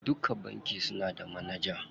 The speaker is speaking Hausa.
Duka banki suna da manaja.